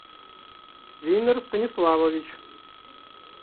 винер станиславович